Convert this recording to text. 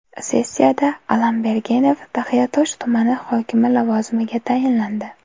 Sessiyada F. Allambergenov Taxiatosh tumani hokimi lavozimiga tayinlandi.